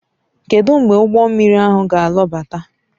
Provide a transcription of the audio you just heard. Kedu mgbe ụgbọ mmiri ahụ ga-alọbata?